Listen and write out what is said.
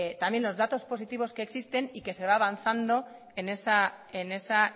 también los datos positivos que existen y que se va avanzando en esa